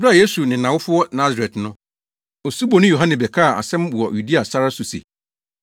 Bere a Yesu ne nʼawofo wɔ Nasaret no, Osuboni Yohane bɛkaa asɛm wɔ Yudea sare so se,